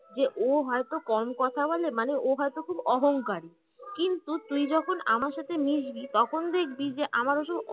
যে ও হয়তো কম কথা বলে মানে ও হয়তো খুব অহংকারী কিন্তু তুই যখন আমার সাথে মিশবি তখন দেখবি আমার ওসব অহং